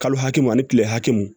Kalo hakɛ mun ani kile hakɛ mun